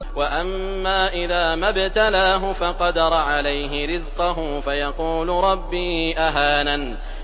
وَأَمَّا إِذَا مَا ابْتَلَاهُ فَقَدَرَ عَلَيْهِ رِزْقَهُ فَيَقُولُ رَبِّي أَهَانَنِ